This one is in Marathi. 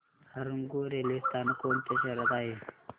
हरंगुळ रेल्वे स्थानक कोणत्या शहरात आहे